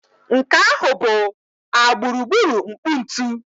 Nke ahụ bụ a gburugburu nkpu ntu